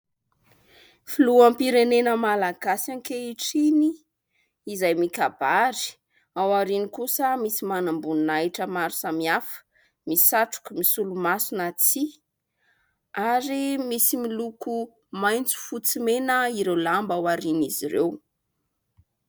filoham-pirenena malagasy ankehitriny izay mikabary ao ariany kosa misy manamboni nahitra maro sami hafa misatroko misolo-masina tsia ary misy miloko maintso fotsimena ireo lamba aho ariana izy ireo